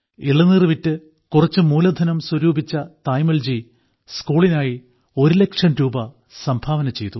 ഇളനീർ വിറ്റ് കുറച്ച് മൂലധനം സ്വരൂപിച്ച തായമ്മാൾജി സ്കൂളിനായി ഒരു ലക്ഷം രൂപ സംഭാവന ചെയ്തു